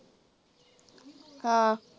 ਕਾ